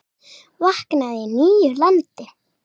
Vaknaði í nýju landi.